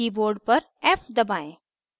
keyboard पर f दबाएं